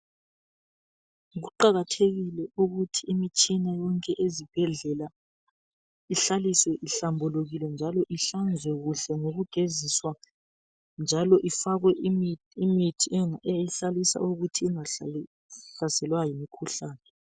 Kuqakathekile ukuthi imitshina yonke ezibhedlela ihlaliswe ihlambukukile njalo ihlanzwe kuhle ngokugeziswa njalo ifakwe imithi eyihlalisa ukuthi ingahlaselwa yimikhuhlane.